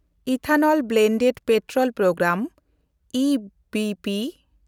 ethanol blended petrol programme (E B P)